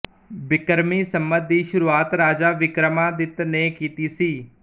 ਬਿਕਰਮੀ ਸੰਮਤ ਦੀ ਸ਼ੁਰੂਆਤ ਰਾਜਾ ਵਿਕ੍ਰਮਾਦਿੱਤ ਨੇ ਕੀਤੀ ਸੀ